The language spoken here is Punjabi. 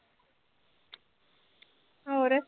ਹੋਰ